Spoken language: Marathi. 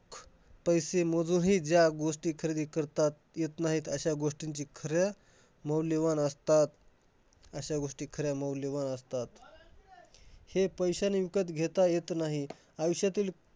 पैसे मोजूनही ज्या गोष्टी खरेदी करता येत नाही अश्या गोष्टीं खऱ्या मौल्यवान असतात. अश्या गोष्टी खऱ्या मौल्यवान असतात. हे पैशाने विकत घेता येत नाही. आयुष्यातील